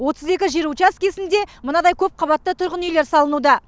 отыз екі жер учаскесінде мынадай көпқабатты үйлер салынуда